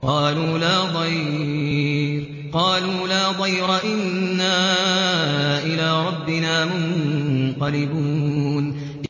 قَالُوا لَا ضَيْرَ ۖ إِنَّا إِلَىٰ رَبِّنَا مُنقَلِبُونَ